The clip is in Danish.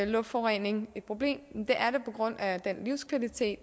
luftforurening et problem det er det på grund af den livskvalitet